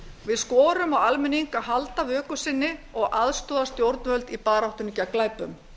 við skorum á almenning að halda vöku sinni og aðstoða stjórnvöld í baráttunni gegn glæpum